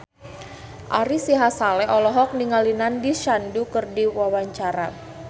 Ari Sihasale olohok ningali Nandish Sandhu keur diwawancara